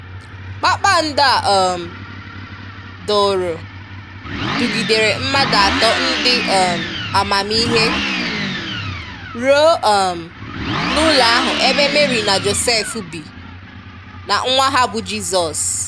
Kpakpàndọ̀ a um dụrụ, dùgìdèrè mmadụ atọ ndị um amamihe ruo um n’ụlọ ahụ ebe Mary na Joseph bì, na nwa ha bú Jisọs